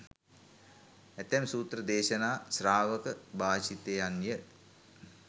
ඇතැම් සූත්‍ර දේශනා ශ්‍රාවක භාෂිතයන්ය.